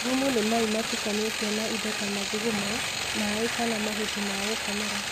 Thumu nĩ mai matukanĩtio na indo ta mathugumo, maĩ kana mahuti ma gũkomera.